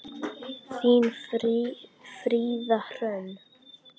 Þín, Fríða Hrönn.